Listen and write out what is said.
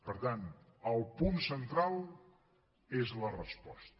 per tant el punt central és la resposta